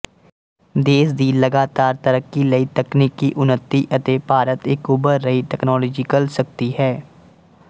ਦੇਸ਼ ਦੀ ਲਗਾਤਾਰ ਤਰੱਕੀ ਲਈ ਤਕਨੀਕੀ ਉੱਨਤੀ ਅਤੇ ਭਾਰਤ ਇੱਕ ਉੱਭਰ ਰਹੀ ਤਕਨਾਲੋਜੀਕਲ ਸ਼ਕਤੀ ਹੈ